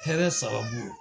Hɛrɛ sababu.